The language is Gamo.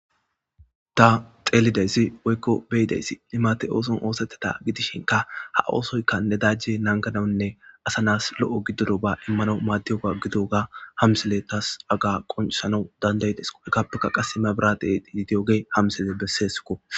Ta xeelideyssi woykko beyideysi imate ooson oosetteda gidishinka ha oosoyka ne dajje nangadanne asanas lo7o giddodo ba immano maaddiyoga gidoga hamsele tas aga qoncesanau dandaydes hekappeka qasse mebiradeeiyidiyoge hamsele besseesukko